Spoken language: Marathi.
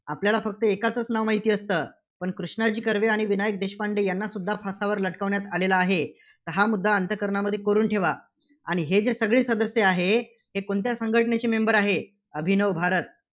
आपल्याला फक्त एकाचचं नाव माहिती असतं. पण कृष्णाजी कर्वे आणि विनायक देशपांडे यांनासुद्धा फासावर लटकवण्यात आलेलं आहे, हा मुद्दा अंतःकरणामध्ये कोरून ठेवा आणि हे जे सगळे सदस्य आहेत, ते कोणत्या संघटनेचे member आहेत? अभिनव भारत.